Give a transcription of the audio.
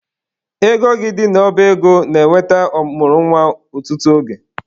Ego gị dị n'ọba ego na-enweta ọ mụrụ nwa ọtụtụ oge.